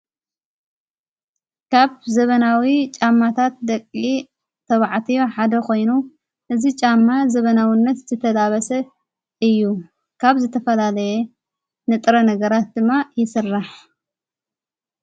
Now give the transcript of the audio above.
ካብ ዘበናዊ ጫማታት ደቕ ተብዕትዮ ሓደ ኾይኑ እዝ ጫማ ዘበናውነት ዝተላበሰ እዩ ካብ ዘተፈላለየ ንጥረ ነገራት ድማ ይስራሕ።